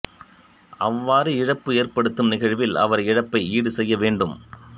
அவ்வாறு இழப்பு ஏற்படுத்தும் நிகழ்வில் அவர் இழப்பை ஈடுசெய்ய வேண்டும்